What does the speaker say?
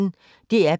DR P1